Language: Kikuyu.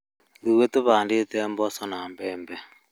Ithuĩ tũhandĩte mboco na mbembe